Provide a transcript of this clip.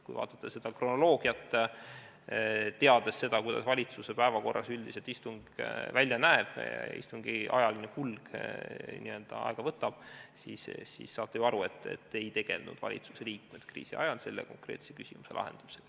Kui vaadata kronoloogiat, teades seda, kuidas valitsuse päevakorras üldiselt istung välja näeb, kui palju istungi ajaline kulg aega võtab, saate ju aru, et valitsuse liikmed kriisi ajal ei tegelenud selle konkreetse küsimuse lahendamisega.